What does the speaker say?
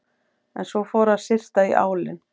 En svo fór að syrta í álinn.